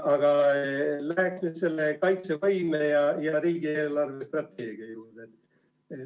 Aga läheks nüüd selle kaitsevõime ja riigi eelarvestrateegia juurde.